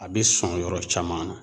A bɛ sɔn yɔrɔ caman na.